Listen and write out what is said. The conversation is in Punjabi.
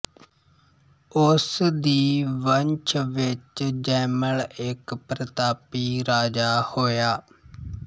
ਉਸ ਦੀ ਵੰਸ਼ ਵਿੱਚ ਜੈਮਲ ਇੱਕ ਪਰਤਾਪੀ ਰਾਜਾ ਹੋਇਆ